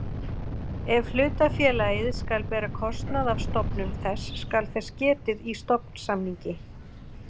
Ef hlutafélagið skal bera kostnað af stofnun þess skal þess getið í stofnsamningi.